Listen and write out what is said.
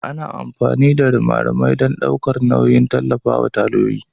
Ana amfani da rimarimai don ɗaukar nauyi da tallafawa tayoyin.